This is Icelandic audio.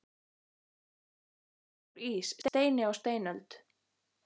Á ísöld var allt úr ís, steini á steinöld.